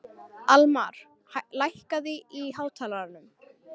Almar, lækkaðu í hátalaranum.